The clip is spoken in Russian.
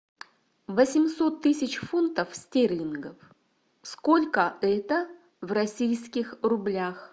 восемьсот тысяч фунтов стерлингов сколько это в российских рублях